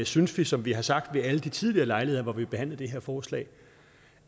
synes vi som vi har sagt ved alle de tidligere lejligheder hvor vi har behandlet det her forslag